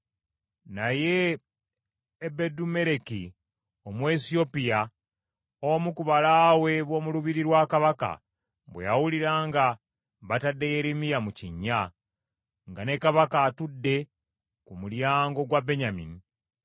Naye Ebedumeleki Omuwesiyopya omu ku balaawe b’omu lubiri lwa kabaka bwe yawulira nga batadde Yeremiya mu kinnya, nga ne kabaka atudde ku mulyango gwa Benyamini,